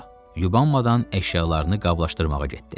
Yubanmadan əşyalarını qablaşdırmağa getdi.